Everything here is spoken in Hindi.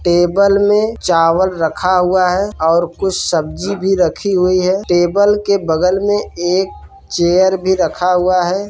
टेबल में चावल रखा हुआ है और कुछ सब्‍जी भी रखी हुई है टेबल के बगल में एक चेयर भी रखा हुआ है।